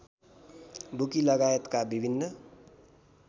bookie लगायतका विभिन्न